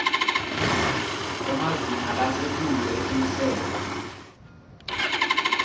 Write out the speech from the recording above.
emazinga lasetulu etinhlelo